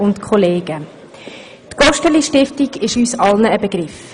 Die GosteliStiftung ist uns allen ein Begriff.